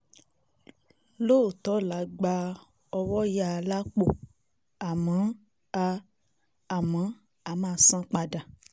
lọ́ọ́tọ̀ọ́ la gba ọwọ́yàá lápò àmọ́ a àmọ́ a máa san padà